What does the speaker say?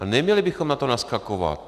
A neměli bychom na to naskakovat.